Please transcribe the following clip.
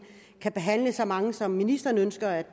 kan behandle så mange som ministeren ønsker at